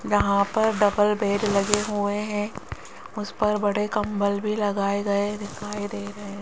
यहां पर double bed लगे हुए हैं उस पर बड़े कंबल भी लगाए गए दिखाई दे रहे हैं।